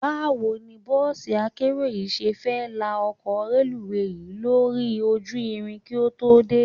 Báwo ni bọ́ọ̀sí akérò yìí ṣe fẹ́ la ọkọ̀ reluwé yìí lórí ojú irin kí ó tó dé?